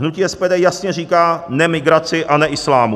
Hnutí SPD jasně říká ne migraci a ne islámu.